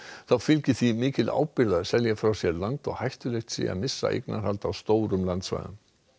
þá fylgi því mikil ábyrgð að selja frá sér land og hættulegt sé að missa eignarhald á stórum landsvæðum